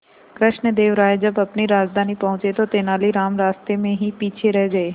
कृष्णदेव राय जब अपनी राजधानी पहुंचे तो तेलानीराम रास्ते में ही पीछे रह गए